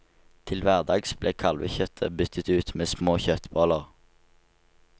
Til hverdags ble kalvekjøttet byttet ut med små kjøttboller.